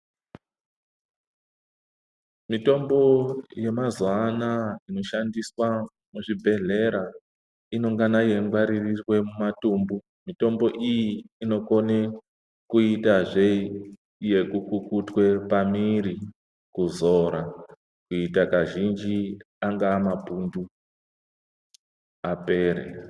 Mitombo ye mazuva anaya ino shandiswa mu zvibhedhlera inongana yei ngwaririrwe mu matumbu mitombo iyi inokone kuite zvee iyo yeku kukutwe pa mwiri kuzora kuita kazhinji anga mapundu apere.